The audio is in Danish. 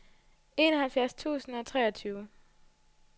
enoghalvfjerds tusind og treogtyve